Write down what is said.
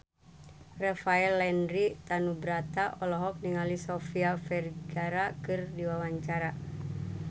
Rafael Landry Tanubrata olohok ningali Sofia Vergara keur diwawancara